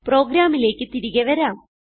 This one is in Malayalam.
പ്രോഗ്രാമിലേക്ക് തിരികെ വരാം